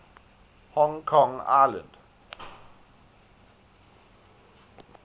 hong kong island